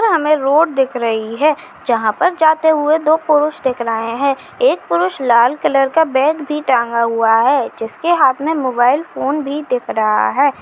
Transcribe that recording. यहाँ हमे रोड दिख रही है जहां पर जाते हुए दो पुरुष दिख रहे है एक पुरुष लाल कलर का बैग भी टाँगा हुआ है जिसके हाथ मे मोबाईल फोन भी दिख रहा है।